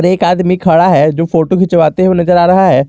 एक आदमी खड़ा है जो फोटो खिचवाते हुए नजर आ रहा है।